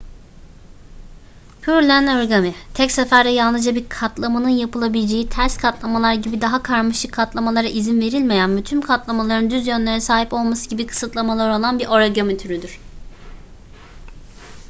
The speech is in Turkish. pureland origami tek seferde yalnızca bir katlamanın yapılabileceği ters katlamalar gibi daha karmaşık katlamalara izin verilmeyen ve tüm katlamaların düz yönlere sahip olması gibi kısıtlamaları olan bir origami türüdür